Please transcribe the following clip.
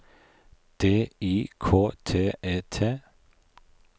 D I K T E T